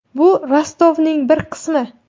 Bu Rostovning bir qismi.